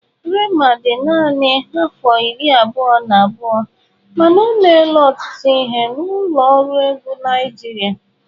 Rema dị naanị afọ iri abụọ na abụọ, mana o meela ọtụtụ ihe na ụlọ ọrụ egwu Naịjirịa.